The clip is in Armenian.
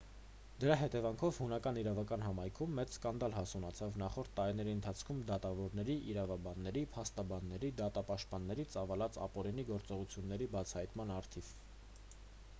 դրա հետևանքով հունական իրավական համայնքում մեծ սկանդալ հասունացավ նախորդ տարիների ընթացքում դատավորների իրավաբանների փաստաբանների դատապաշտպանների ծավալած ապօրինի գործողությունների բացահայտման առթիվ